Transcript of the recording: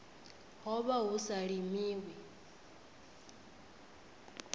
ho vha hu sa limiwi